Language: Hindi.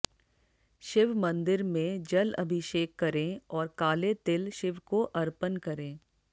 शिव मंदिर में जल अभिषेक करें और काले तिल शिव को अर्पण करें